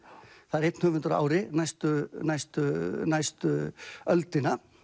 það er einn höfundur á ári næstu næstu næstu öldina